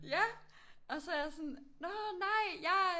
Ja og så er jeg sådan nå nej jeg